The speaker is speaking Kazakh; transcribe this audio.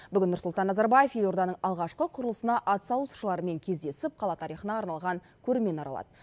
бүгін нұрсұлтан назарбаев елорданың алғашқы құрылысына атсалысушылармен кездесіп қала тарихына арналған көрмені аралады